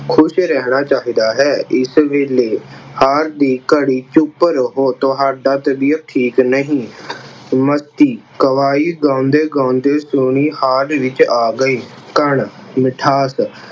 ਖੁਸ਼ ਰਹਿਣਾ ਚਾਹੀਦਾ ਹੈ। ਇਸ ਵੇਲੇ ਹਾਲ ਦੀ ਘੜੀ ਚੁੱਪ ਰਹੋ, ਤੁਹਾਡੀ ਤਬੀਅਤ ਠੀਕ ਨਹੀਂ। ਕਵਾਲੀ ਗਾਉਂਦੇ ਗਾਉਂਦੇ ਸੋਨੀ hall ਵਿੱਚ ਆ ਗਈ। ਕਣ, ਮਿਠਾਸ